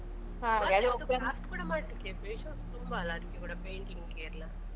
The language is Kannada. Fast ಕೂಡ ಮಾಡ್ಲಿಕ್ಕೆ ಇದ್ರೆ ತುಂಬ ಅಲ್ಲ ಅದಿಕ್ಕೆ ಕೂಡ painting ಗ್ಗೆ ಎಲ್ಲ?